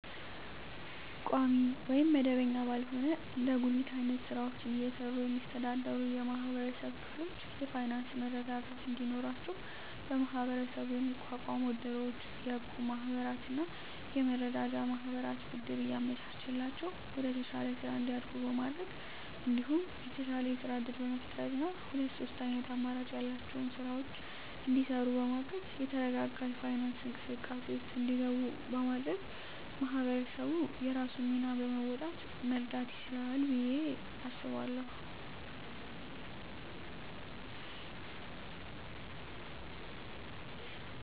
ቋሚ ወይም መደበኛ ባልሆነ እንደ ጉሊት አይነት ስራወችን እየሰሩ የሚስተዳደሩ የማህበረሰብ ክፍሎች የፋይናንሰ መረጋጋት እንዲኖራቸው በመሀበረሰቡ የሚቋቋሙ እድሮች፣ የእቁብ ማህበራትና የመረዳጃ ማህበራት ብድር እያመቻቸላቸው ወደተሻለ ስራ እንዲያድጉ በማድረግ እንዲሁም የተሻለ የስራ እድል በመፍጠርና ሁለት ሶስት አይነት አማራጭ ያላቸውን ስራወች እንዲሰሩ በማገዝ የተረጋጋ የፋይናንስ እንቅስቃሴ ውስጥ እንዲገቡ በማድረግ ማህበረሰቡ የራሱን ሚና በመወጣት መርዳት ይችላል ብየ አስባለሁ።